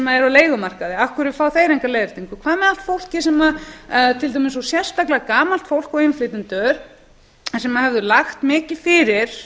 á leigumarkaði af hverju fá þeir enga leiðréttingu hvað með allt fólkið sem til dæmis og sérstaklega gamalt fólk og innflytjendur sem höfðu lagt mikið fyrir